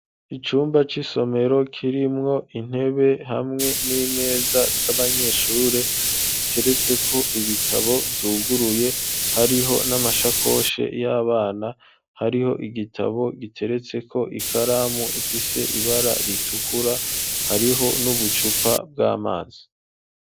Icumba c'isomero, kirimwo intebe, hamwe n'imeza z'abanyeshure, ziteretseko ibitabo, vyuguruye; hariho n'amashakoshe y'abana, hariho igitabo, giteretseko ikaramu, ifise ibara ritukura; hariho, n'ubucupa bw'amazi.